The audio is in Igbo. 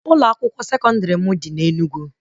Ụlọ akwụkwọ sekọndrị m dị na Enugu